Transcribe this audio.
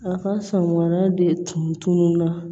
A ka sɔngɔda de tununna